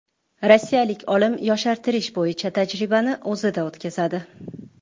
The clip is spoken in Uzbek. Rossiyalik olim yoshartirish bo‘yicha tajribani o‘zida o‘tkazadi.